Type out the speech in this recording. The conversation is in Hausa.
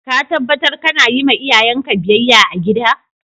Ka tabatar kana yi ma iyayen ka biyyaya a'gida?